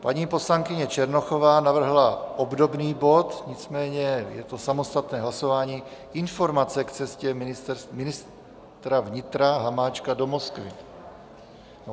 Paní poslankyně Černochová navrhla obdobný bod, nicméně je to samostatné hlasování, Informace k cestě ministra vnitra Hamáčka do Moskvy...